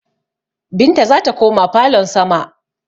Binta zata koma falon sama